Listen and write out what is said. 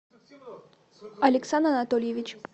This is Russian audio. алексан анатольевич